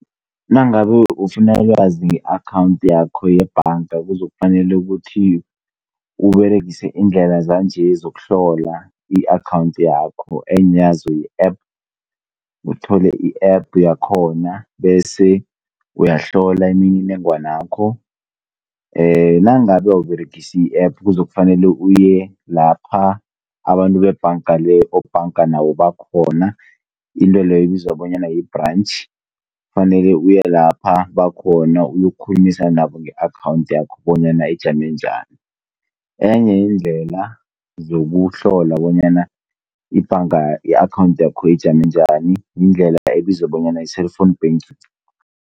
Nangabe ufuna ukwazi nge-akhawunthi yakho yebhanga kuzokufanele ukuthi Uberegise iindlela zanje zokuhlola i-akhawunthi yakho enye yazo yi-app. Uthole i-app yakhona bese uyahlola imininingwana yakho. Nangabe awUberegisi i-app, kuzokufanele uyelapha abantu bebhangale obhanganayo bakhona, into leyo ibizwa bona yi-branch. Fanele uye lapho bakhona uyokukhulumisana nabo uyokukhulumisana nabo nge-akhawunthi yakho bonyana ijame bunjani. Enye yeendlela zokuhlola bonyana ibhanga yakho ijame njani, yindlela ebizwa bona yi-cellphone banking.